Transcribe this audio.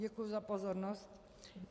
Děkuji za pozornost.